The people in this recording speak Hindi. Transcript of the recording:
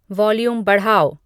वॉल्यूम बढ़ाओ